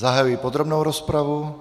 Zahajuji podrobnou rozpravu.